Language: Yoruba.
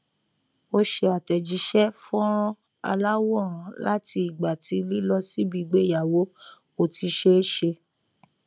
ó ṣe àtẹjíṣẹ fọnrán aláwòrán láti ìgbà tí lílọ síbi ìgbéyàwó kò ti ṣe é ṣe